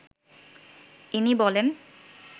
ইনি বলেন